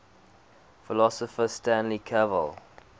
philosopher stanley cavell